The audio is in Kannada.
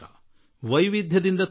ವೈವಿಧ್ಯತೆಗಳಿಂದ ತುಂಬಿದೆ